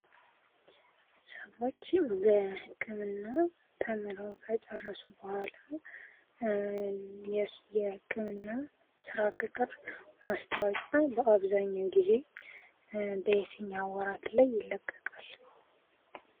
ሰዎች በህክምና ተምረው ከጨረሱ በኋላ የህክምና ስራ ቅጥር ማስታወቂያ በአብዛኛው ጊዜ በየተኛ ወራት ላይ ይለቀቃል?